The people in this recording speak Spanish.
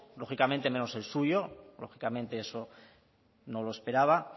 lógicamente menos el suyo lógicamente eso no lo esperaba